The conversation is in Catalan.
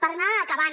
per anar acabant